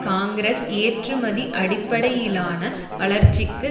காங்கிரஸ் ஏற்றுமதி அடிப்படையிலான வளர்ச்சிக்கு